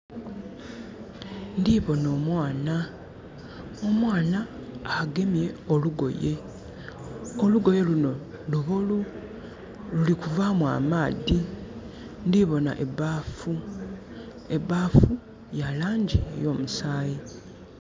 Ndibon'omwana, omwana agemye olugoye. Olugoye luno lubolu. Lulikuvaamu amaadhi. Ndibona ebbafu. Ebbafu, ya langi ey'omusaayi.